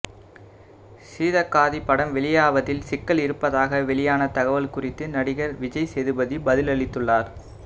சீதக்காதி படம் வெளியாவதில் சிக்கல் இருப்பதாக வெளியான தகவல் குறித்து நடிகர் விஜய்சேதுபதி பதிலளித்துள்ளார்